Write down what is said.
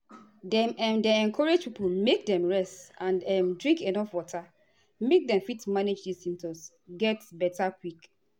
dem um dey encourage pipo make dem rest and um drink enuf water make dem fit manage di symptoms get beta quick.